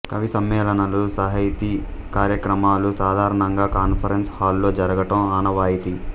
కవి సమ్మేళనాలు సాహితీ కార్యక్రమాలు సాధారణంగా కాన్ఫరెన్స్ హాల్లో జరగటం ఆనవాయితీ